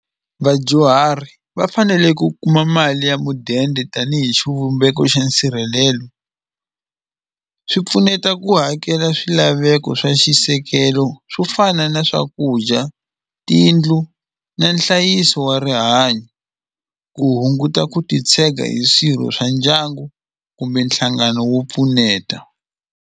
Vadyuhari va fanele ku kuma mali ya mudende tanihi xivumbeko xa nsirhelelo swi pfuneta ku hakela swilaveko swa xisekelo swo fana na swakudya tiyindlu na nhlayiso wa rihanyo ku hunguta ku titshega hi swirho swa ndyangu kumbe nhlangano wo pfuneta.